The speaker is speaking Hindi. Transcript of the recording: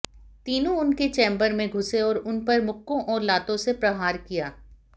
तीनों उनके चैम्बर में घुसे और उन पर मुक्कों और लातों से प्रहार किया